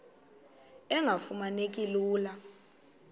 engafuma neki lula